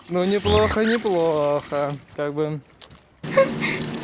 но неплохо неплохо как бы